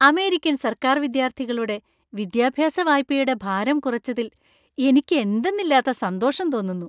American സര്‍ക്കാര്‍വിദ്യാർത്ഥികളുടെ വിദ്യാഭ്യാസ വായ്പയുടെ ഭാരം കുറച്ചതിൽ എനിക്ക് എന്തെന്നില്ലാത്ത സന്തോഷം തോന്നുന്നു.